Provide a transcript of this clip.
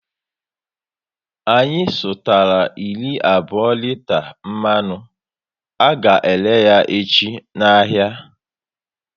Anyị sutara iri abụọ riters mmanụ, a ga ere yá echi n'ahia